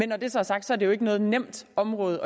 når det så er sagt er det jo ikke noget nemt område